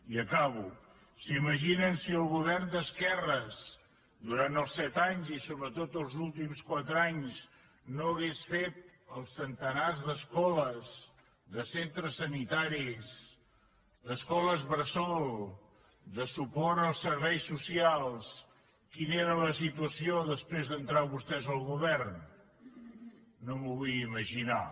i acabo s’imaginen si el govern d’esquerres durant els set anys i sobretot els últims quatre anys no hagués fet els centenars d’escoles de centres sanitaris d’escoles bressol de suport als serveis socials quina era la situació després d’entrar vostès al govern no m’ho vull ni imaginar